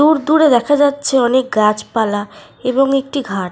দূর দূরে দেখা যাচ্ছে অনেক গাছপালা এবং একটি ঘাট।